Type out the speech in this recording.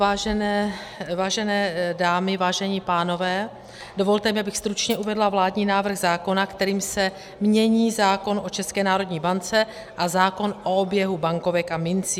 Vážené dámy, vážení pánové, dovolte mi, abych stručně uvedla vládní návrh zákona, kterým se mění zákon o České národní bance a zákon o oběhu bankovek a mincí.